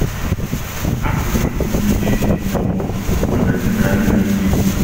A pụrụ iti gị ihe ma ọ bụ ọbụna dinaa gị n’ike.